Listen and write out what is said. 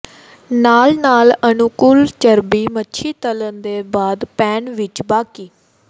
ਨਾਲ ਨਾਲ ਅਨੁਕੂਲ ਚਰਬੀ ਮੱਛੀ ਤਲਣ ਦੇ ਬਾਅਦ ਪੈਨ ਵਿੱਚ ਬਾਕੀ